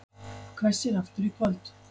Hvessir aftur í kvöld